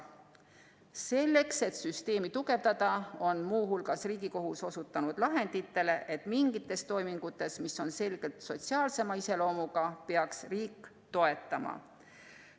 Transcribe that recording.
Selleks, et süsteemi tugevdada, on muu hulgas Riigikohus osutanud lahenditele,, et mingite toimingute puhul, mis on selgelt sotsiaalsema iseloomuga, peaks riik toetama.